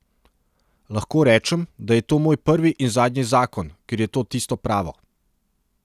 Lahko rečem, da je to moj prvi in zadnji zakon, ker je to tisto pravo.